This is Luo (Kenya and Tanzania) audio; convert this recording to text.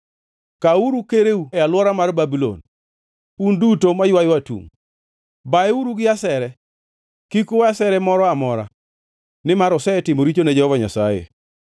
“Kawuru kereu e alwora mar Babulon, un duto maywayo atungʼ. Bayeuru gi asere! Kik uwe asere moro amora, nimar osetimo richo ne Jehova Nyasaye.